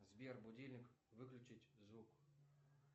сбер будильник выключить звук